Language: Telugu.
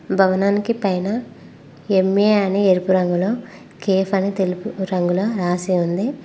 భవనానికి పైన ఎమ్ఏ అని ఎరుపు రంగులో కేఫ్ అని తెలుపు రంగులో రాసి ఉంది.